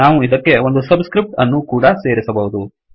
ನಾವು ಇದಕ್ಕೆ ಒಂದು ಸಬ್ ಸ್ಕ್ರಿಫ್ಟ್ ಅನ್ನು ಕೂಡಾ ಸೇರಿಸಬಹುದು